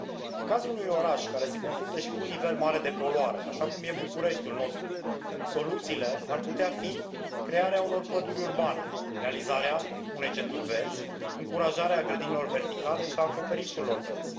În cazul unui oraș care se confruntă și cu un nivel mare de poluare așa cum este Bucureștiul nostru soluțiile ar putea fi crearea unor păduri urbane, realizarea unei centuri verzi, încurajarea grădinilor verticale și a acoperișurilor verzi.